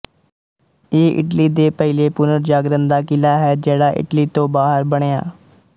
ਇਹ ਇਟਲੀ ਦੇ ਪਹਿਲੇ ਪੁਨਰਜਾਗਰਨ ਦਾ ਕਿਲਾ ਹੈ ਜਿਹੜਾ ਇਟਲੀ ਤੋਂ ਬਾਹਰ ਬਣਿਆ